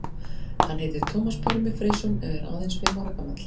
Hann heitir Tómas Pálmi Freysson og er aðeins fimm ára gamall.